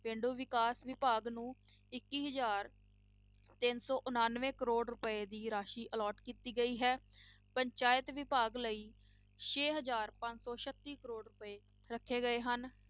ਪੇਂਡੂ ਵਿਕਾਸ ਵਿਭਾਗ ਨੂੰ ਇੱਕੀ ਹਜ਼ਾਰ ਤਿੰਨ ਸੌ ਉਨਾਨਵੇਂ ਕਰੌੜ ਰੁਪਏ ਦੀ ਰਾਸ਼ੀ allot ਕੀਤੀ ਗਈ ਹੈ, ਪੰਚਾਇਤ ਵਿਭਾਗ ਲਈ ਛੇ ਹਜ਼ਾਰ ਪੰਜ ਸੌ ਛੱਤੀ ਕਰੌੜ ਰੁਪਏ ਰੱਖੇ ਗਏ ਹਨ।